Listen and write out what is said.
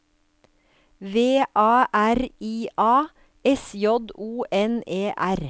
V A R I A S J O N E R